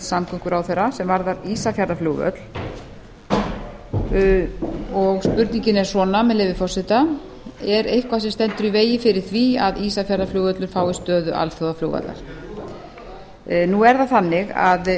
samgönguráðherra sem varðar ísafjarðarflugvöll og spurningin er svona með leyfi forseta er eitthvað sem stendur í vegi fyrir því að ísafjarðarflugvöllur fái stöðu alþjóðaflugvallar nú er það þannig að